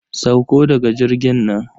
Sauko daga jirgin nan.